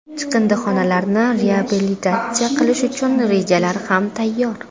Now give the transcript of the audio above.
Chiqindixonalarni reabilitatsiya qilish uchun rejalar ham tayyor.